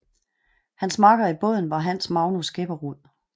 Hans makker i båden var Hans Magnus Grepperud